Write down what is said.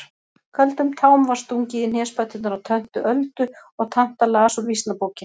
Köldum tám var stungið í hnésbæturnar á töntu Öldu og tanta las úr Vísnabókinni.